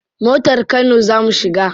Motar kano za mu shiga.